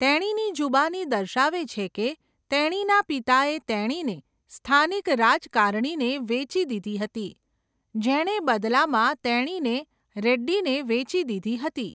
તેણીની જુબાની દર્શાવે છે કે તેણીના પિતાએ તેણીને સ્થાનિક રાજકારણીને વેચી દીધી હતી, જેણે બદલામાં તેણીને રેડ્ડીને વેચી દીધી હતી.